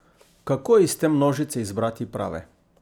Kako iz te množice izbrati prave?